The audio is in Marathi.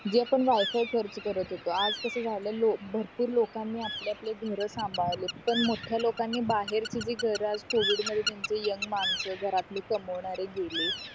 जे आपण वायफळ खर्च करत होतो आज कास झाला भरपूर लोकांनी आपली आपली घर सांभाळी पण मोठ्या लोकांनी बाहेरचे जे घरात covid मध्ये त्यांचे यंग मानस घरातले कमावणारे गेले